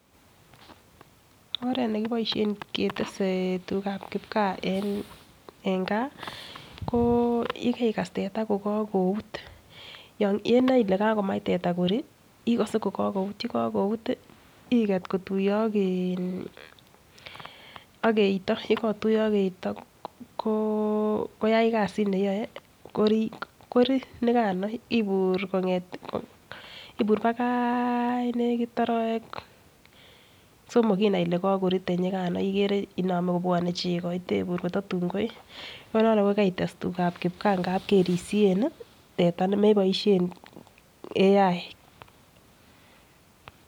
Oret nekiboishen ketesen tugab kipkaa en gaa koo yekekas teta ko kokout yenoe kole kakomach teta korii ikose yekokout. Yekokout iket kotuyo ak eito, yekotuyi ak eito koo koyai kasit neyoe korii nikano ibur nakaa nekit orowek somok inai Ile kokori tenyikano ikere inome kobwone cheko itebur kototun koi. En yono ko karites tugab kipkaa ngalek kerisien nii teta nemeboishe AI.